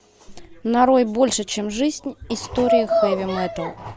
нарой больше чем жизнь история хэви метал